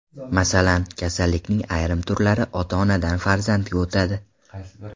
Masalan, kasallikning ayrim turlari ota-onadan farzandga o‘tadi.